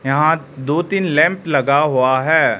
यहां दो तीन लैंप लगा हुआ है।